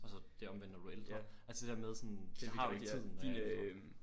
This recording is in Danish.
Og så det omvendte når du er ældre altså det der med sådan jeg har jo ikke tiden når jeg er ældre